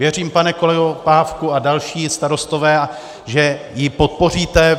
Věřím, pane kolego Pávku a další starostové, že ji podpoříte.